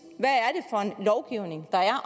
er